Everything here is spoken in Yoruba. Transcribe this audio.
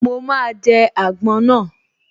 Mo máa jẹ àgbọn náà